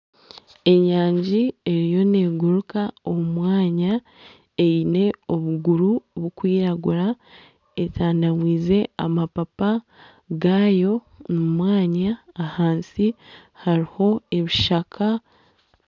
Enyanji eriyo negurika omu mwanya eine obuguru burikwiragura esandiize amapapa gaayo omu mwanya ahansi hariho ebishaka